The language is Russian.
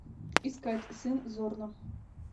искать сын зорна